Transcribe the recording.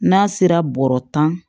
N'a sera bɔrɔ tan